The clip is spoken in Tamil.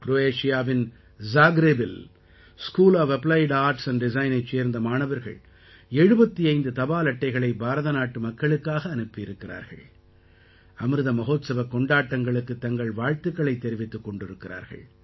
க்ரோயேஷியாவின் ஜாக்ரேபில் school of applied arts and Designஐச் சேர்ந்த மாணவர்கள் 75 தபால் அட்டைகளை பாரதநாட்டு மக்களுக்காக அனுப்பி இருக்கிறார்கள் அமிர்த மஹோத்சவக் கொண்டாட்டங்களுக்குத் தங்கள் வாழ்த்துக்களைத் தெரிவித்துக் கொண்டிருக்கிறார்கள்